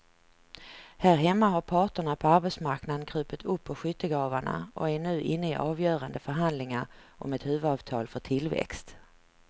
Här hemma har parterna på arbetsmarknaden krupit upp ur skyttegravarna och är nu inne i avgörande förhandlingar om ett huvudavtal för tillväxt.